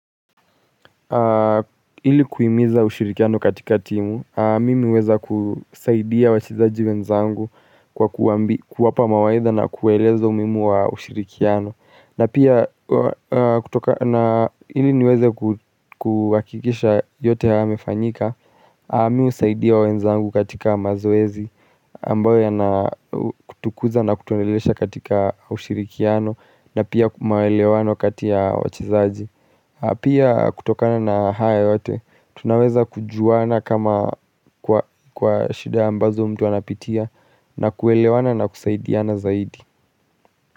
Ili kuhimiza ushirikiano katika timu, mimi huweza kusaidia wachezaji wenzangu kwa kuwapa mawaidha na kueleza umimu wa ushirikiano. Na pia kutoka na ili niweze kuhakikisha yote yamefanyika, mimi husaidia wenzangu katika mazoezi Amboya yana kutukuza na kutonelesha katika ushirikiano na pia maelewano katika wachezaji pia kutokana na hayo yote, tunaweza kujuana kama kwa shida ambazo mtu anapitia na kuelewana na kusaidiana zaidi.